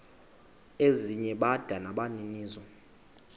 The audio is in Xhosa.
ezinye bada nabaninizo